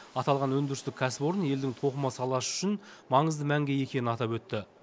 аталған өндірістік кәсіпорын елдің тоқыма саласы үшін маңызды мәнге ие екенін атап өтті